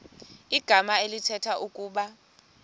igama elithetha ukuba